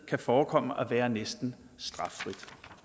kan forekomme at være næsten straffrit